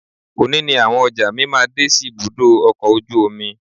Òní ni àwọn ọjà mi máa dé sí ibùdó ọkọ̀ ojú omi